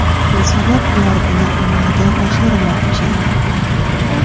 shu sabab ular buni amalga oshirmoqchi.